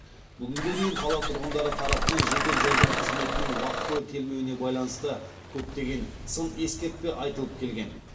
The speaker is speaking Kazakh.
бүгінге дейін қала тұрғындары тарапынан жедел жәрдем қызметінің уақтылы келмеуіне байланысты көптеген сын ескертпе айтылып келген